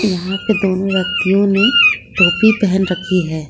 यहां पे दोनों व्यक्तियों ने टोपी पहन रखी है।